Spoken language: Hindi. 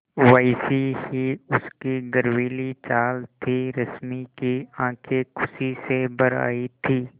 वैसी ही उसकी गर्वीली चाल थी रश्मि की आँखें खुशी से भर आई थीं